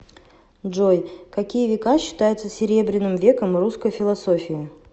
джой какие века считаются серебряным веком русской философии